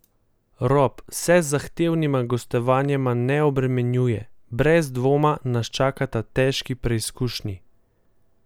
Rob se z zahtevnima gostovanjema ne obremenjuje: 'Brez dvoma nas čakata težki preizkušnji.